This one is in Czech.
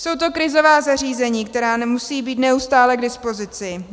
Jsou to krizová zařízení, která nemusí (?) být neustále k dispozici.